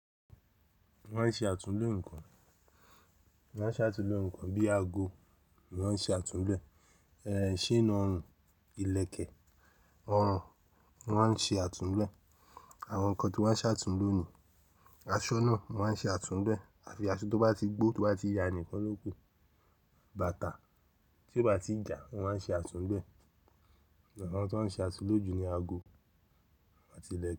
Mo maa n ṣe àtúnlo ǹkàn. Mo maa n ṣe àtúnlo ǹkàn bíi ago, mo maa n ṣe àtúnlo ẹ́, chain ọrùn, ìlẹ̀kẹ̀ ọrùn mo maa n ṣe àtúnlo ẹ́. Àwọn ǹkan tí mo maa n ṣe àtúnlo ni aṣọ́ nàa mọ́ maa n ṣe àtúnlo ẹ́. Àfi aṣọ to bá ti gbó to bá ti ya nikan lóku Bàtà tí ó bá ti jà mọ́ maa n ṣe àtúnlo ẹ́. Àwọn tí mọ́ maa n ṣe àtúnlo jù ni aago àti ìlẹ̀